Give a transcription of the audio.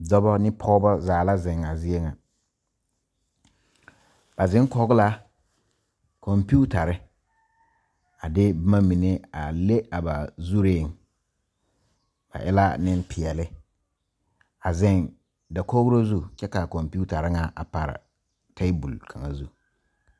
Dɔba ne pɔgeba zaa la zeŋ a zie ŋa ba zeŋ kɔge la kɔmpetare a de boma mine a le a ba zureŋ ba e la nempeɛle a zeŋ dakogro zu kyɛ k,a kɔmpetare ŋa a pare tabol kaŋ zu.